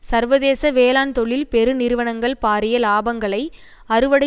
சர்வதேச வேளாண் தொழில் பெருநிறுவனங்கள் பாரிய இலாபங்களை அறுவடை